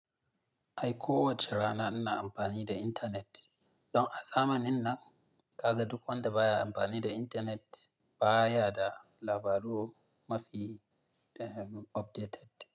Ai ko wace rana ina amfani da intanet. Don a zamanin nan, ka ga duk wanda baya amfani da intanet baya da labaru mafi, eh, updated.